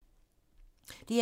DR2